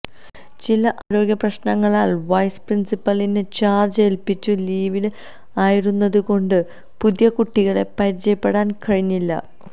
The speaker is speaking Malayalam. ചില ആരോഗ്യ പ്രശ്നങ്ങളാൽ വൈസ് പ്രിൻസിപ്പലിനെ ചാർജ് ഏല്പിച്ചു ലീവിൽ ആയിരുന്നതു കൊണ്ട് പുതിയ കുട്ടികളെ പരിചയപ്പെടാൻ കഴിഞ്ഞില്ല